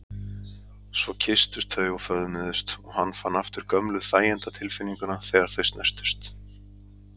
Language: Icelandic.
Svo kysstust þau og föðmuðust og hann fann aftur gömlu þæginda- tilfinninguna þegar þau snertust.